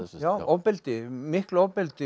já ofbeldi miklu ofbeldi